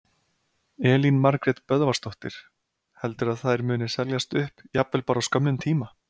Elín Margrét Böðvarsdóttir: Heldurðu að þær muni seljast upp, jafnvel bara á skömmum tíma?